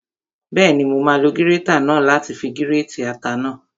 Bẹ́ẹ̀ni, mo máa lo gírétà náà láti fi gírètì ata náà